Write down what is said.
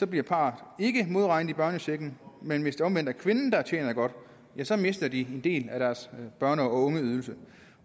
bliver parret ikke modregnet i børnechecken men hvis det omvendt er kvinden der tjener godt mister de en del af deres børne og ungeydelse